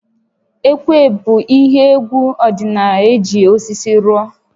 Ekwe bụ ihe égwú ọdịnaala eji osisi rụọ